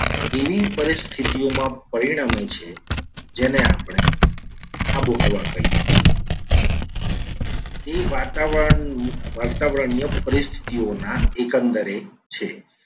એવી પરિસ્થિતિઓમાં પરિણમે છે. જેને આપણે આબોહવા કહીએ છીએ. તે વાતાવરણ વાતાવરણની પરિસ્થિતિઓ ના એકંદરે છે.